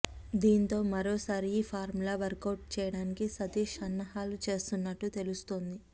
దీంతో మరోసారి ఈ ఫార్ములా వర్కౌట్ చేయడానికి సతీష్ సన్నాహాలు చేస్తున్నట్లు తెలుస్తోంది